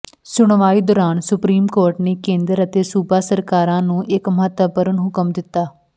ਸੁਣਵਾਈ ਦੌਰਾਨ supreme court ਨੇ ਕੇਂਦਰ ਅਤੇ ਸੂਬਾ ਸਰਕਾਰਾਂ ਨੂੰ ਇੱਕ ਮਹੱਤਵਪੂਰਨ ਹੁਕਮ ਦਿੱਤਾ